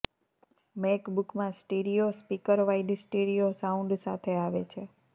મૅકબુકમાં stereo speaker wide stereo sound સાથે આવે છે